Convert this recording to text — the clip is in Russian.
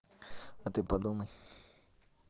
а ты подумай